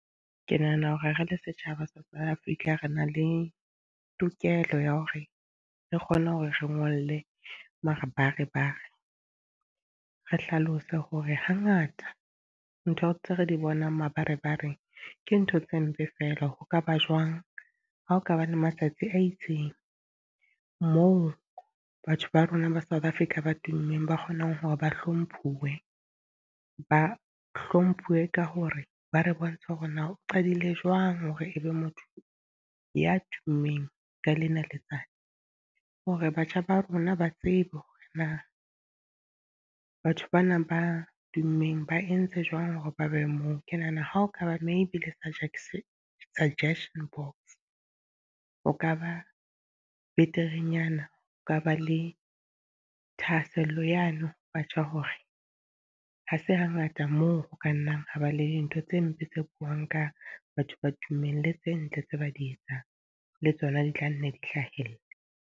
Ke nahana hore re le setjhaba South Africa re na le tokelo ya hore re kgone hore re ngolle mabarebare, re hlalose hore ha ngata ntho tseo re di bonang mabarebareng ke ntho tse mpe fela. Ho kaba jwang ha ho ka ba le matsatsi a itseng moo batho ba rona ba South Africa ba tummeng ba kgonang hore ba hlomphuwe, ba hlomphuwe ka hore ba re bontsha hore na o qadile jwang hore ebe motho ya tummeng ka lena letsatsi. Hore batjha ba rona ba tsebe hore na, batho ba nang ba tummeng ba entse jwang hore ba be moo. Ke nahana ha o kaba maybe le suggestion, suggestion box ho ka ba beterenyana ka ba le thahasello yano batjha hore ha se ha ngata moo ho ka nnang ho ba le dintho tse mpe tse buang ka batho ba tummeng le tse ntle tse ba di etsang, le tsona di tla nne di hlahelle.